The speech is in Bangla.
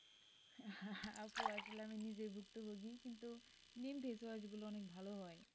আপু আসলে আমি নিজেই ভুক্তভোগী কিন্তু নিম face wash গুলো অনেক ভালো হয়।